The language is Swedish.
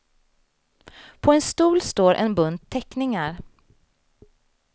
På en stol står en bunt teckningar.